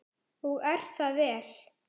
Og er það vel.